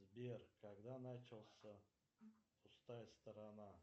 сбер когда начался пустая сторона